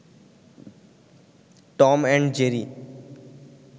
Tom and Jerry